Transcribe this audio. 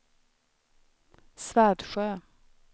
Svärdsjö